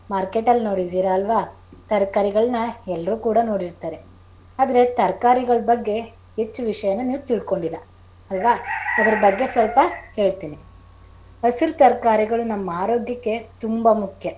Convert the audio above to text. market ಲ್ ನೋಡಿದಿರ್ ಅಲ್ವಾ ತರಕಾರಿಗಳನ್ನ ಎಲ್ಲರು ಕೂಡ ನೋಡಿರತಾರೆ. ಆದರೇ ತರಕಾರಿಗಳ ಬಗ್ಗೆ ಹೆಚ್ಚು ವಿಷಯನ ನೀವು ತಿಳ್ಕೊಂಡಿಲ್ಲ ಅಲ್ವಾ ಅದರ ಬಗ್ಗೆ ಸ್ವಲ್ಪ ಹೇಳ್ತೀನಿ ಹಸಿರು ತರಕಾರಿಗಳು ನಮ್ಮ ಆರೋಗ್ಯಕ್ಕೆ ತುಂಬಾ ಮುಖ್ಯ.